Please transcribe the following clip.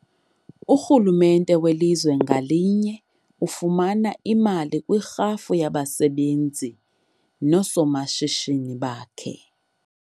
Urhulumente welizwe ngalinye ufumana imali kwirhafu yabasebenzi noosomashishini bakhe.